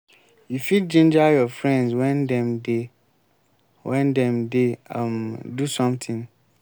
you fit ginger your friends when dem dey when dem dey um do something